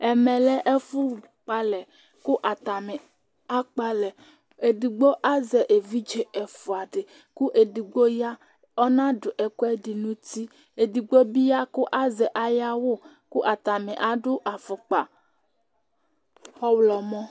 Ɛmɛlɛ ɛfu kpɔ alɛ kʋ atani akpɔ alɛ Ɛdigbo azɛ evidze ɛfʋa di kʋ ɛdigbo ya ɔna du ɛkʋɛdi nʋ ʋti Ɛdigbo bi ya kʋ azɛ ayʋ awu kʋ atani adu afukpa ɔwlɔmɔ